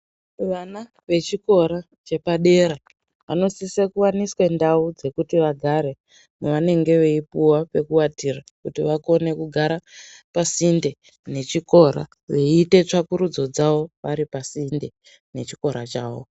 Vana vechikora chepadera vanosisa kuwaniswe ndao dzekuti vagare pavanenge veipuwa pekuvatira kuti vakone kugara pasinde ngechikora kuti vakone kuita tsvagurudzo dzavo .